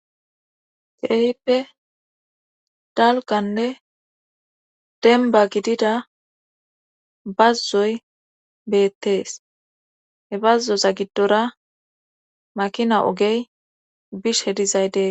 Keehippe dalkanne demba gidida bazzoy beettees he bazzoza giddora makina ogey bish hedizay dees.